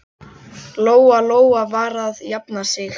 Lóa-Lóa var að jafna sig.